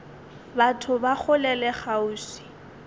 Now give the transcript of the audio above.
batho ba kgole le kgauswi